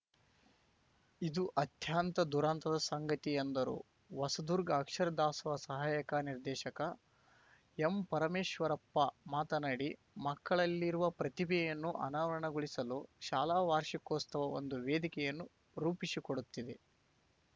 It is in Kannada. ಇದು ಅತ್ಯಂತ ದುರಂತದ ಸಂಗತಿ ಎಂದರು ಹೊಸದುರ್ಗ ಅಕ್ಷರ ದಾಸೋಹ ಸಹಾಯಕ ನಿರ್ದೇಶಕ ಎಂ ಪರಮೇಶ್ವರಪ್ಪ ಮಾತನಾಡಿ ಮಕ್ಕಳಲ್ಲಿರುವ ಪ್ರತಿಭೆಯನ್ನು ಅನಾವರಣಗೊಳಿಸಲು ಶಾಲಾ ವಾರ್ಷಿಕೋತ್ಸವ ಒಂದು ವೇದಿಕೆಯನ್ನು ರೂಪಿಸಿಕೊಡುತ್ತಿದೆ